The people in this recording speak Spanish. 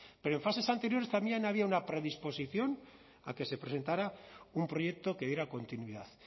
pero en fases anteriores también había una predisposición a que se presentara un proyecto que diera continuidad